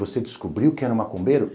Você descobriu que era um macumbeiro?